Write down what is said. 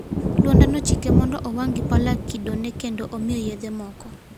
Luanda nochike mondo owang' gi pala kidone kendo omiye yedhe moko.